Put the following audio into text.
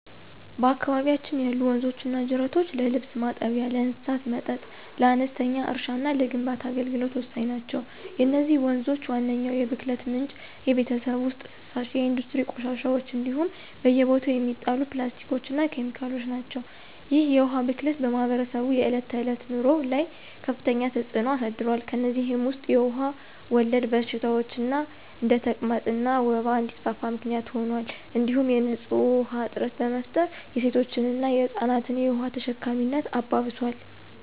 በአካባቢያችን ያሉ ወንዞችና ጅረቶች ለልብስ ማጠቢያ፣ ለእንስሳት መጠጥ፣ ለአነስተኛ እርሻና ለግንባታ አገልግሎት ወሳኝ ናቸው። የነዚህ ወንዞች ዋነኛው የብክለት ምንጭ የቤት ውስጥ ፍሳሽ፣ የኢንዱስትሪ ቆሻሻዎች እንዲሁም በየቦታው የሚጣሉ ፕላስቲኮችና ኬሚካሎች ናቸው። ይህ የውሃ ብክለት በማኅበረሰቡ የዕለት ተዕለት ኑሮ ላይ ከፍተኛ ተጽዕኖ አሳድሯል። ከእነዚህም ውስጥ የውሃ ወለድ በሽታዎች እንደ ተቅማጥና ወባ እንዲስፋፋ ምክንያት ሆኗል እንዲሁም የንፁህ ውሃ እጥረት በመፍጠር የሴቶችንና የህፃናትን የውሃ ተሸካሚነት አባብሷል።